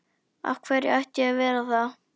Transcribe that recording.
Af hverju ætti ég að vera það?